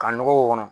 Ka nɔgɔ k'o kɔnɔ